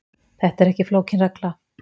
Þetta er ekki flókin regla